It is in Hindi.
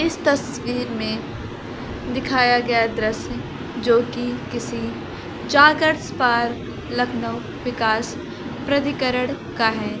इस तस्वीर में दिखाया गया दृश्य जो कि किसी जागर्स पार्क लखनऊ विकास प्रधिकरण का है।